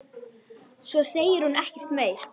Ég hleypti af.